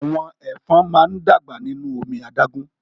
Àwọn ẹ̀fọn máa n dàgbà nínú omi adágún.